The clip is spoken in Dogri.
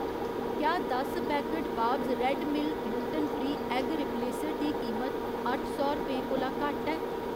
क्या दस packet Bob's red mill gluten free egg replacer दी कीमत अट्ठ सौ रपेंऽ कोला घट्ट ऐ?